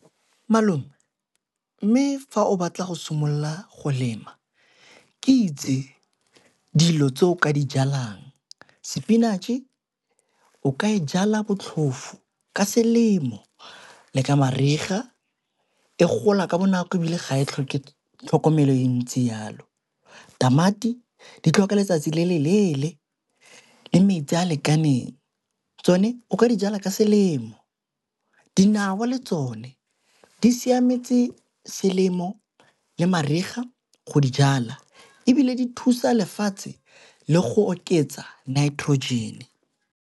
Malome mme fa o batla go simolola go lema ke itse dilo tse o ka di jalang ke spinach-e o ka e jala botlhofo ka selemo le ka mariga e gola ka bonako ebile ga phitlho ke tlhokomelo ya ntse yalo, tamati di tlhoka letsatsi le le leele le metsi a lekaneng tsone o ka dijalwa ka selemo, dinawa le tsone di siametse selemo le mariga go dijala ebile di thusa lefatshe le go oketsa nitrogen.